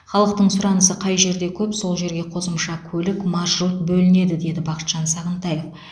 халықтың сұранысы қай жерде көп сол жерге қосымша көлік маршрут бөлінеді деді бақытжан сағынтаев